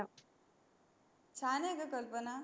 छान आहे ग कल्पना